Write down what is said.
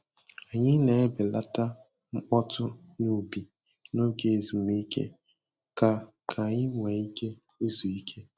Anyị na-ebelata mkpọtụ n'ubi n'oge ezumike ka ka anyị nwee ike izu ike.